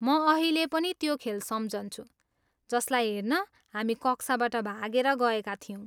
म अहिले पनि त्यो खेल सम्झन्छु जसलाई हेर्न हामी कक्षाबाट भागेर गएका थियौँ।